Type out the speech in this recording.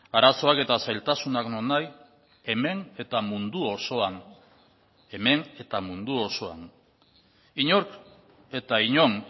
arazoak eta zailtasunak nonahi hemen eta mundu osoan hemen eta mundu osoan inork eta inon